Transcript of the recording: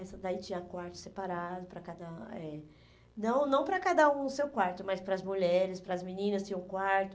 essa daí tinha quarto separado para cada, eh... Não não para cada um o seu quarto, mas paras as mulheres, para as meninas tinha um quarto.